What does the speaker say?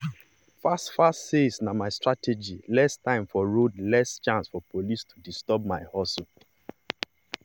fast-fast sales na my strategy less time for road less chance for police to disturb my hustle.